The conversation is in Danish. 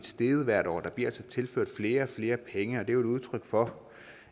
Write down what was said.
steget hvert år der bliver altså tilført flere og flere penge og det er jo et udtryk for